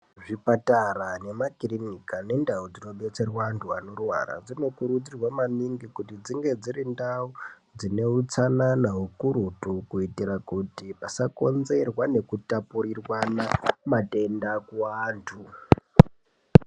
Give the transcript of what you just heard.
Zvipatara, nemakirinika nendau dzinodetserwe antu anorwara, dzinokurudzirwa maningi kuti dzinge dziri ndau dzine utsanana hukurutu kuitira kuti pasakonzerwa nekutapurirwana matenda kuwantu.